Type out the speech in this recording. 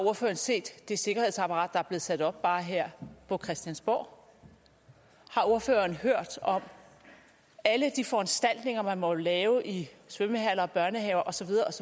ordføreren set det sikkerhedsapparat der er blevet sat op bare her på christiansborg har ordføreren hørt om alle de foranstaltninger man må lave i svømmehaller og børnehaver og så